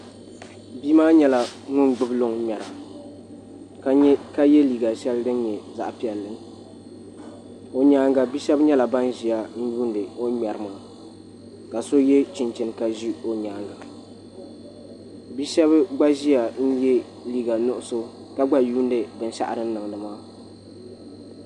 Bia maa nyɛla ŋun gbubi luŋ ŋmɛra ka yɛ liiga shɛli din nyɛ zaɣ piɛlli o nyaanga bia shab nyɛla ban ƶiya n yuundi o ni ŋmɛri maa ka so yɛ chinchin ka ʒi o nyaanga bia shab gba ʒiya yɛ liiga nuɣso ka gba yuundi binshaɣu o ni niŋdi maa